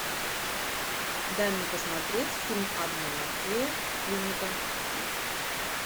дай мне посмотреть фильм адама маккея клиника